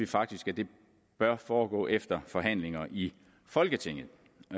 faktisk at det bør foregå efter forhandlinger i folketinget